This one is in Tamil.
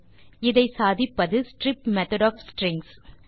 இதை சாதிப்பது ஸ்ட்ரிப் மெத்தோட் ஒஃப் ஸ்ட்ரிங்ஸ்